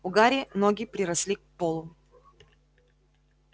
у гарри ноги приросли к полу